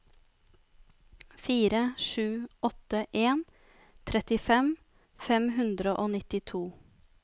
fire sju åtte en trettifem fem hundre og nittito